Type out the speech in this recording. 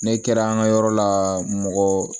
Ne kɛra an ka yɔrɔ la mɔgɔ